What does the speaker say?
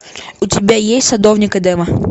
у тебя есть садовник эдема